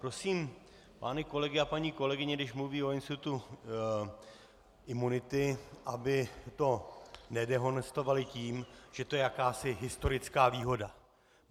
Prosím pány kolegy a paní kolegyně, když mluví o institutu imunity, aby to nedehonestovali tím, že to je jakási historická výhoda.